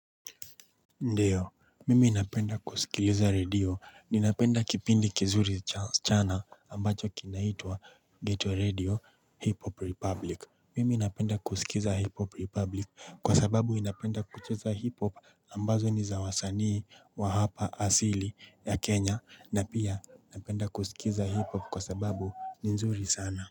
Ndio mimi napenda kusikiliza redio ninapenda kipindi kizuri cha waschana ambacho kinaitua geto redio hip hop republic mimi napenda kusikiza hip hop republic kwa sababu inapenda kucheza hip hop ambazo nizawasanii wa hapa asili ya kenya na pia inapenda kusikiza hip hop kwa sababu nizuri sana.